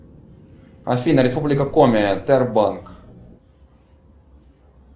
афина республика коми тербанк